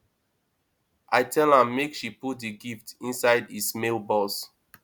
i tell am make she put the gift inside his mail box